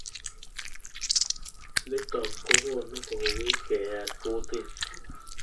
Nitok kokonu kouit keyat kutit.